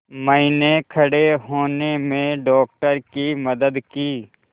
मैंने खड़े होने में डॉक्टर की मदद की